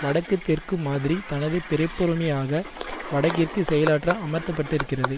வடக்குதெற்கு மாதிரி தனது பிறப்புரிமையாக வடக்கிற்கு செயலாற்ற அமர்த்தப்பட்டிருக்கிறது